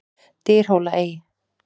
Dyrhólaey